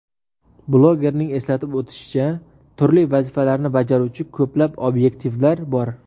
Blogerning eslatib o‘tishicha, turli vazifalarni bajaruvchi ko‘plab obyektivlar bor.